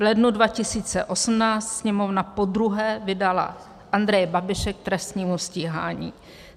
V lednu 2018 Sněmovna podruhé vydala Andreje Babiše k trestnímu stíhání.